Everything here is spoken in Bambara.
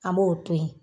An b'o to yen